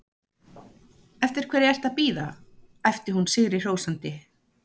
Eftir hverju ertu að bíða? æpti hún sigrihrósandi.